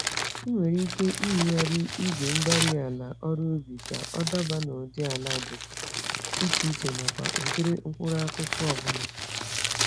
Ị nwere ike ịhịgharị igwe-mgbárí-ala ọrụ ubi ka ọ daba n'ụdị ala dị iche iche nakwa ụdịrị mkpụrụ-akụkụ ọbula.